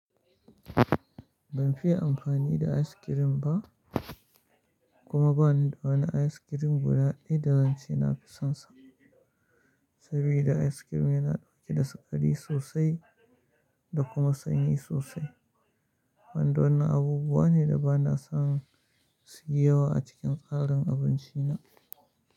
Ban fiye amfani da askirim ba kuma ba ni da wani askirim guda ɗaya da zan ce na fi sonsa, saboda askirim yana ɗauke da sukari sosai da kuma sanyi sosai, wanda wannan abubuwa ne da ba na son su yi yawa a cikin tsarin abinci na.